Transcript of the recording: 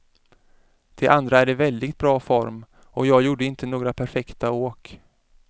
De andra är i väldigt bra form och jag gjorde inte några perfekta åk.